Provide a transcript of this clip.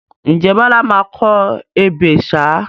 Ǹjẹ́ Bọlá máa kọ ebè ṣáá?